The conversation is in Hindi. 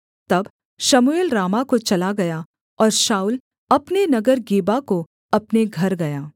तब शमूएल रामाह को चला गया और शाऊल अपने नगर गिबा को अपने घर गया